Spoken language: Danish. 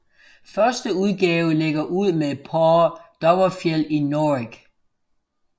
Første udgave lægger ud med Paa Dovrefjeld i Norrig